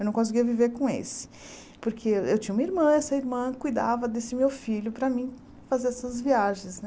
Eu não conseguia viver com esse, porque eu eu tinha uma irmã, essa irmã cuidava desse meu filho para mim fazer essas viagens, né?